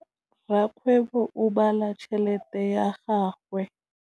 Rakgwêbô o bala tšheletê ya gagwe.